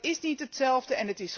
Dat is niet hetzelfde.